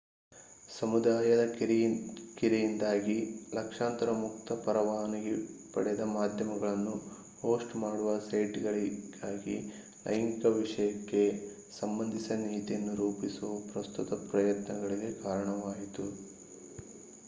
ಸಮುದಾಯದ ಕಿರಿಕಿರಿಯಿಂದಾಗಿ ಲಕ್ಷಾಂತರ ಮುಕ್ತ-ಪರವಾನಗಿ ಪಡೆದ ಮಾಧ್ಯಮಗಳನ್ನು ಹೋಸ್ಟ್ ಮಾಡುವ ಸೈಟ್‌ಗಾಗಿ ಲೈಂಗಿಕ ವಿಷಯಕ್ಕೆ ಸಂಬಂಧಿಸಿದ ನೀತಿಯನ್ನು ರೂಪಿಸುವ ಪ್ರಸ್ತುತ ಪ್ರಯತ್ನಗಳಿಗೆ ಕಾರಣವಾಯಿತು